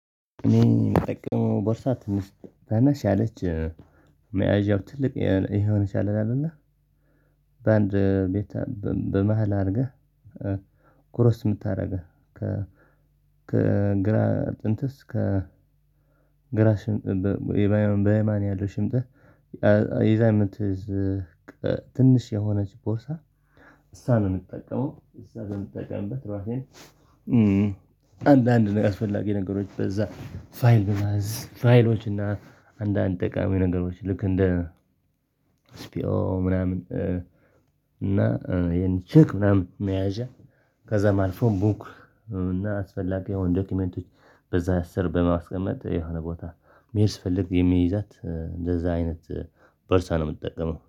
እኔ የምጠቅመው ቦርሳ ትንሽ አነስ ያለች ማያዣው ትልቅ የሆነች አለና እና በአንድ ቤት በመሃል አድርገህ ኩረስ የምታደርገው ከ ከግራ ጥንትስ ከ ከግራ ሽምጥ በህይወት በህይወት ያለው ሽምጥ ጥህ የዛን ትንሽ የሆነች ቦርሳ እሳ ነው የምጠቀመው ውሳ ነው የምጠቀምበት አራሴን አንዳንድ ነገር አስፈላጊ ነገሮች በዛ ፋይል በማዝ ፋይሎች እና አንዳንድ ጠቃሚ ነገሮች ልክ እንደ ስፒዮ ምናምን እና ይሄን ቼክ ምናምን መያዣ ከዛ አልፎም ቡክ እና አስፈላጊ የሆኑ ዶክመንቶች በዛ ስር በማስቀመጥ የሆነ ቦታ መሄድ ስፈልግ የሚይዛት እንደዛ አይነት ቦርሳ ነው የምትጠቀመው።